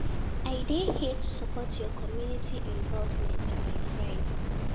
I dey here to support your community involvement my friend.